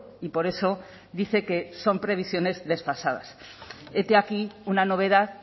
y por eso dice que son previsiones desfasadas hete aquí una novedad